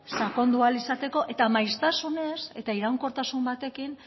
sakondu ahal izateko eta maiztasunez eta iraunkortasun batekin